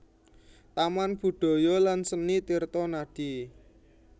Taman Budaya lan Seni Tirtonadi